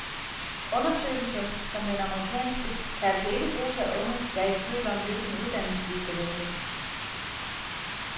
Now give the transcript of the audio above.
Undersøgelser som den amerikanske kan altså ikke bruges af unge, der er i tvivl om, hvilken uddannelse de skal vælge.